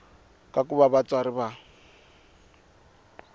ka ku va vatswari va